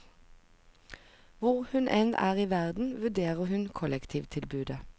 Hvor hun enn er i verden, vurderer hun kollektivtilbudet.